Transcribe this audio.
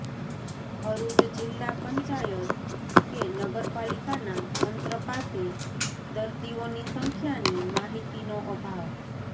ભરૃચ જિલ્લા પંચાયત કે નગરપાલિકાના તંત્ર પાસે દર્દીઓની સંખ્યાની માહિતીનો અભાવ